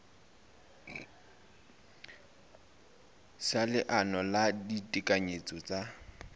sa leano la ditekanyetso tsa